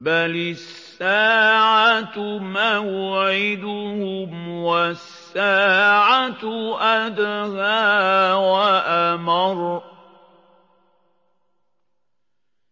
بَلِ السَّاعَةُ مَوْعِدُهُمْ وَالسَّاعَةُ أَدْهَىٰ وَأَمَرُّ